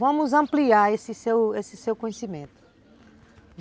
Vamos ampliar esse seu conhecimento.